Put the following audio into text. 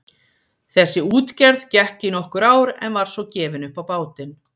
Þessi útgerð gekk í nokkur ár en var svo gefin upp á bátinn.